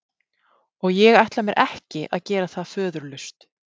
Og ég ætla mér ekki að gera það föðurlaust.